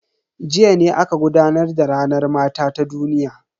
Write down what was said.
Jiya ne aka gudanar da ranar mata ta duniya.